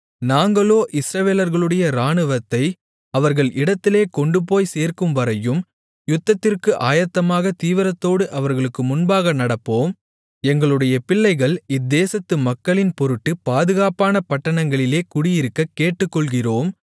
நாங்களோ இஸ்ரவேலர்களுடைய ராணுவத்தை அவர்கள் இடத்திலே கொண்டுபோய்ச் சேர்க்கும்வரையும் யுத்தத்திற்கு ஆயத்தமாக தீவிரத்தோடு அவர்களுக்கு முன்பாக நடப்போம் எங்களுடைய பிள்ளைகள் இத்தேசத்து மக்களின் பொருட்டு பாதுகாப்பான பட்டணங்களிலே குடியிருக்கக் கேட்டுக்கொள்ளுகிறோம்